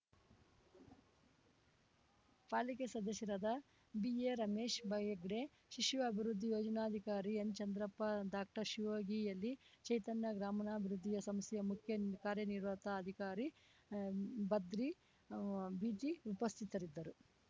ಪಾಲಿಕೆ ಸದಸ್ಯರಾದ ಬಿಎ ರಮೇಶ್‌ ಹೆಗ್ಡೆ ಶಿಶು ಅಭಿವೃದ್ಧಿ ಯೋಜನಾಧಿಕಾರಿ ಎನ್‌ಚಂದ್ರಪ್ಪ ಡಾಕ್ಟರ್ಶಿವಯೋಗಿ ಯಲಿ ಚೈತನ್ಯ ಗ್ರಾಮೀಣಾಭಿವೃದ್ಧಿಯ ಸಂಸ್ಥೆಯ ಮುಖ್ಯ ಕಾರ್ಯನಿರ್ವಾಹತ ಅಧಿಕಾರಿ ಭದ್ರೀ ಬಿಜಿ ಉಪಸ್ಥತರಿದ್ದರು